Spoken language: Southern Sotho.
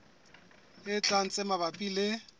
e tlang tse mabapi le